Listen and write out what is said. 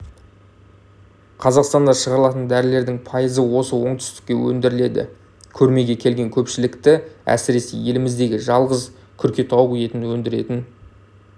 қазақстанда шығарылатын дәрілердің пайызы осы оңтүстікте өндіріледі көрмеге келген көпшілікті әсіресе еліміздегі жалғыз күркетауық етін өндіретін